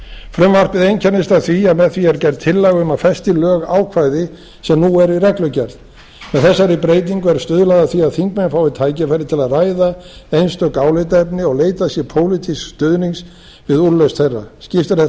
frumvarpið einkennist af því að með því er gerð tillaga um að festa í lög ákvæði sem nú eru í reglugerð með þessari breytingu er stuðlað að því að þingmenn fái tækifæri til að ræða einstök álitaefni og leita sér pólitísks stuðnings við úrlausn þeirra skiptir þetta